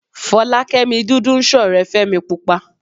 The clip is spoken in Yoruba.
Fọlákẹ́mi dúdú ń ṣọ̀rẹ́ Fẹ́mi púpa